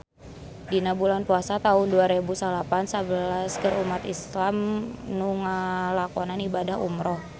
Dina bulan Puasa taun dua rebu salapan belas seueur umat islam nu ngalakonan ibadah umrah